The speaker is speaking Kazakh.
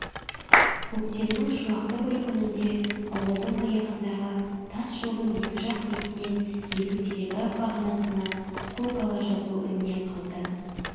көктемнің шуақты бір күніңде ауылдың аяғыңдағы тас жолдың екі жақ бетінен екі телеграф бағанасына көкала жазу іліне қалды